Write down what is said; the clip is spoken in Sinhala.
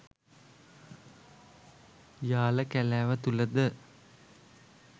යාල කැලෑව තුළද